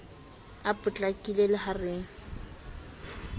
a potlakile le ha re